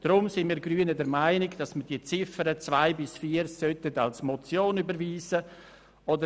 Deshalb sind wir Grünen der Meinung, die Ziffern 2 bis 4 sollten als Motion überwiesen werden.